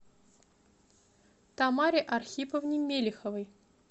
тамаре архиповне мелиховой